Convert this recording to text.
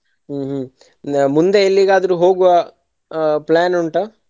ಹ್ಮ್ ಹ್ಮ್ ಮುಂದೆ ಎಲ್ಲಿಗಾದ್ರು ಹೋಗುವ ಆ plan ಉಂಟಾ?